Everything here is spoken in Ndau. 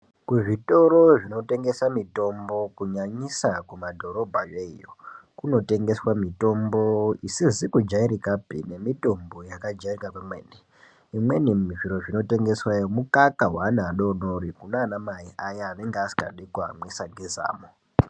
Kuzvitoro zvinotengesa mitombo kunyanyisa kumadhorobha yoiyo kunotengeswa mitombo isakazikujairikapi yakajairika pamweni zvimweni zviro zvinotengesweyo mikaka wevana vadodori kunana mai aya anenga asikadi kuyamwisa ngezamo .